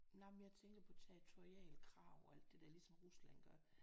Nej men jeg tænker på territoriale krav og alt det der ligesom Rusland gør